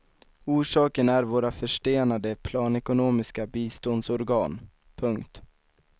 Orsaken är våra förstenade planekonomiska biståndsorgan. punkt